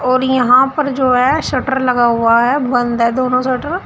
और यहां पर जो है शटर लगा हुआ है बंद है दोनों शटर ।